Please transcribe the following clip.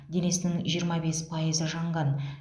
денесінің жиырма бес пайызы жанған